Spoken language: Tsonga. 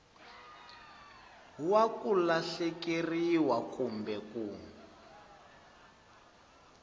wa ku lahlekeriwa kumbe ku